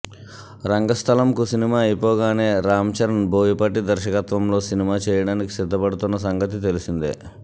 రంగస్థలంకు cinema అయిపోగానే రామ్ చరణ్ బోయపాటి దర్శకత్వంలో cinema చేయడానికి సిద్దపడుతోన్న సంగతి తెలిసిందే